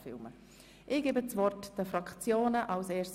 – Nun haben die Fraktionen das Wort.